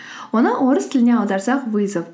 оны орыс тіліне аударсақ вызов